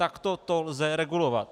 Takto to lze regulovat.